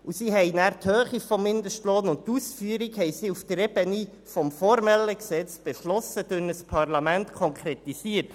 Die Höhe des Mindestlohnes und die Ausführung wurden dort auf der Ebene des formellen Gesetzes beschlossen und durch das Parlament konkretisiert.